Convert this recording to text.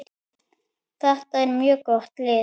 Þetta er mjög gott lið.